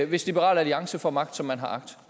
hvis liberal alliance får magt som man har agt